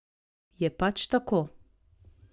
Je pač tako!